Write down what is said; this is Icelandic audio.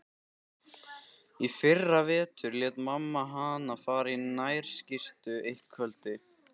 Í fyrravetur lét mamma hana fara í nærskyrtu eitt kvöldið.